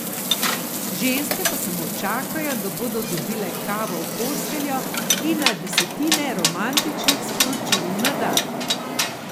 Ženske pa samo čakajo, da bodo dobile kavo v posteljo in na desetine romantičnih sporočil na dan.